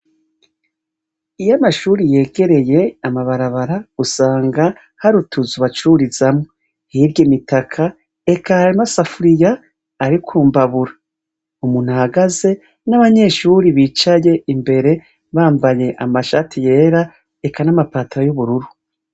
Iyo amashuri yegereye amabarabara, usanga hari utuzu bacururizamwo. Hirya imitaka, eka amasafuriya ari ku mbabura. Umuntu ahagaze, n'abanyeshure bicaye imbere, bamabaye amashati yera, eka n'amapataro y'ubururu.